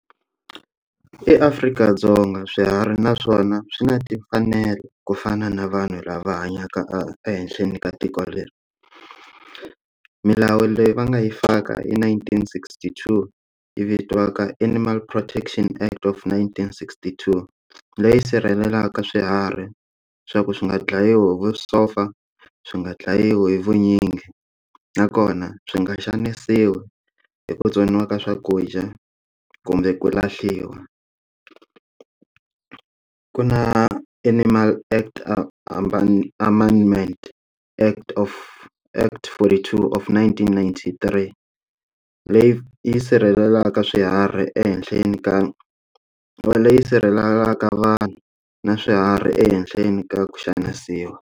E-Afrika-Dzonga swiharhi naswona swi na timfanelo ku fana na vanhu lava hanyaka e ehenhleni ka tiko leri milawu leyi va nga yi faka i nineteen sixty-two yi vitiwaka animal protection act of nineteen sixty-two leyi sirhelelaka swiharhi swa ku swi nga dlayiwi hi vusopfa swi nga dlayiwi hi vunyingi nakona swi nga xanisiwi hi ku tsoniwa ka swakudya kumbe ku lahliwa ku na animal act amendment act of act forty-two of nineteen ninety-three leyi yi sirhelelaka swiharhi ehenhleni ka leyi sirhelelaka vanhu na swiharhi ehenhleni ka ku xanisiwa.